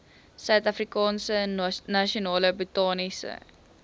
suidafrikaanse nasionale botaniese